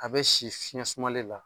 A bɛ si fiɲɛ sumalen la.